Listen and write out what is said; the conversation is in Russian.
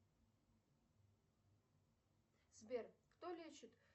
сбер кто лечит